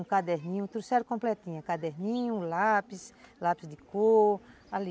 Um caderninho, trouxeram completinho, caderninho, lápis, lápis de cor, ali.